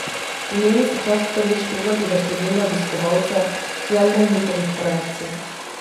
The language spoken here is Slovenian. Imeli so čast prvič kuhati za številne obiskovalce, željne njihovih kreacij.